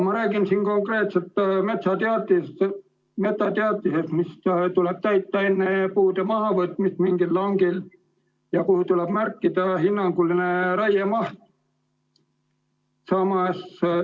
Ma räägin siin konkreetselt metsateatisest, mis tuleb täita enne puude mahavõtmist mingil langil ja kuhu tuleb märkida hinnanguline raiemaht.